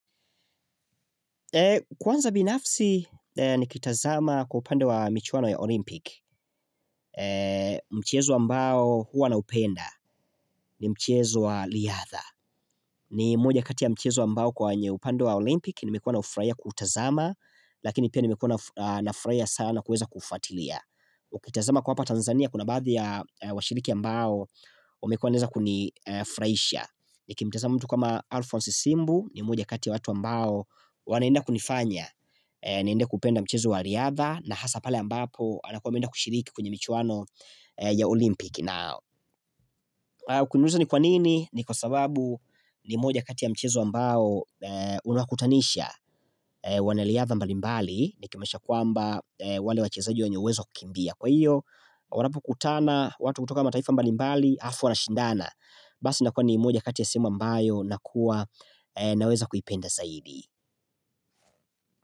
Kwanza binafsi ni kitazama kwa upande wa michuano ya Olympic mchezo wa mbao huwa na upenda ni mchezo wa liyatha ni mmoja kati ya mchezo ambao kwenye upande wa Olympic nimekuwa naufuraia kutazama Lakini pia nimekuwa nafuraia sana kuweza kufuatilia Ukitazama kwa hapa Tanzania kuna baadhi ya washiriki ambao wamekuwa waneza kunifraisha Niki mtazama mtu kama Alphonse Simbu ni mmoja kati ya watu ambao wanaenda kunifanya niende kupenda mchizo wa liadha na hasa pale ambapo anakuwa ameenda kushiriki kwenye michuano ya Olympic Kuniuliza ni kwa nini ni kwa sababu ni moja kati ya mchezo ambao Unuakutanisha wanaliadha mbali mbali Niki manisha kwamba wale wachezaji wanye uwezo kukimbia Kwa iyo wanapo kutana watu kutoka mataifa mbali mbali Alafu wanashindana Basi nakua ni mmoja kati ya sehemu ambayo nakuwa naweza kuipenda saidi.